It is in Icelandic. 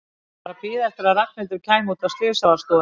Hann var að bíða eftir að Ragnhildur kæmi út af slysavarðstofunni.